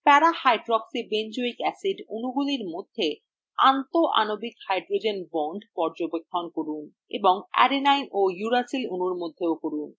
parahydroxybenzoic acid অণুগুলির মধ্যে আন্তঃ আণবিক hydrogen বন্ধন পর্যবেক্ষণ করুন